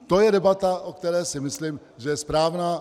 To je debata, o které si myslím, že je správná.